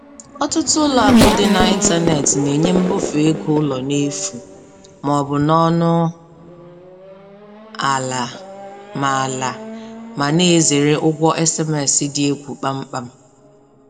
Ọtụtụ ụlọakụ dị n'ịntanetị n'enye mbufe ego ụlọ n'efu ma ọ bụ n'ọnụ ala, ma ala, ma na-ezere ụgwọ SMS dị egwu kpamkpam.